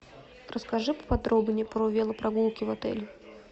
расскажи поподробнее про велопрогулки в отеле